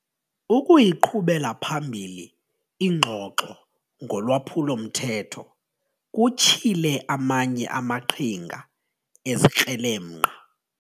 Ukuyiqhubela phambili ingxoxo ngolwaphulo-mthetho kutyhile amanye amaqhinga ezikrelemnqa.